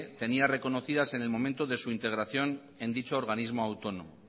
tenía reconocidas en el momento de su integración en dicho organismo autónomo